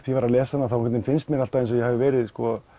ég var að lesa hana þá finnst mér alltaf eins og ég hafi verið